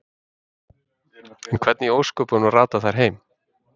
En hvernig í ósköpunum rata þær heim?